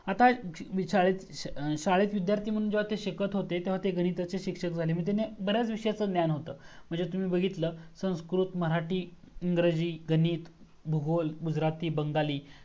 आता शाळेत विध्यार्थी मनहून जेव्हा शिकत होते तेव्हा ते घरी गणिताचे शिक्षक झाले म्हणजे त्यांना बर्‍याच विषयाच ज्ञान होत म्हणजे तुम्ही बघितल संस्कृत मराठी इंग्रजी गणित भूगोल गुजराती बंगाली